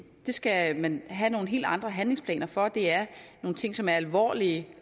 skal man have nogle helt andre handlingsplaner for det er nogle ting som er alvorlige